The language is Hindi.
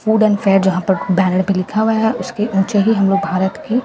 फूड एंड फेयर जहां पर बैनर पे लिखा हुआ हैं उसके ऊँचे हमें भारत की --